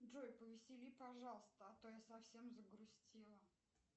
джой повесели пожалуйста а то я совсем загрустила